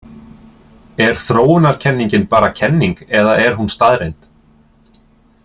Er þróunarkenningin bara kenning eða er hún staðreynd?